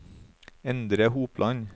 Endre Hopland